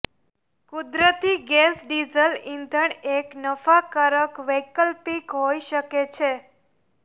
કુદરતી gas diesel ઇંધણ એક નફાકારક વૈકલ્પિક હોઈ શકે છે